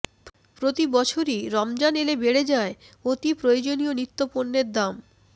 প্রতি বছরই রমজান এলে বেড়ে যায় অতিপ্রয়োজনীয় নিত্যপণ্যের দাম